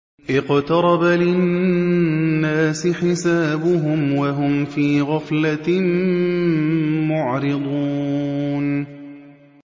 اقْتَرَبَ لِلنَّاسِ حِسَابُهُمْ وَهُمْ فِي غَفْلَةٍ مُّعْرِضُونَ